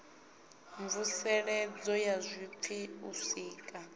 mvuseledzo ya zwipfi u sika